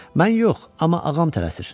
Mən yox, amma ağam tələsir.